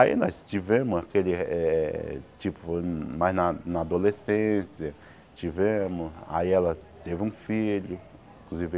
Aí nós tivemos aquele eh eh, tipo, mais na na adolescência, tivemos, aí ela teve um filho, inclusive